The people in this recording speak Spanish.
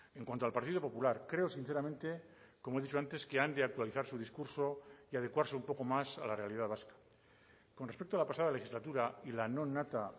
en cuanto al partido popular creo sinceramente como he dicho antes que han de actualizar su discurso y adecuarse un poco más a la realidad vasca con respecto a la pasada legislatura y la nonata